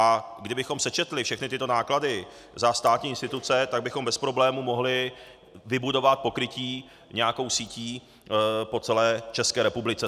A kdybychom sečetli všechny tyto náklady za státní instituce, tak bychom bez problému mohli vybudovat pokrytí nějakou sítí po celé České republice.